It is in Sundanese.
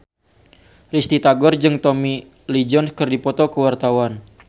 Risty Tagor jeung Tommy Lee Jones keur dipoto ku wartawan